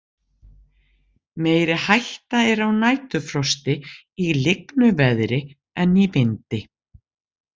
Meiri hætta er á næturfrosti í lygnu veðri en í vindi.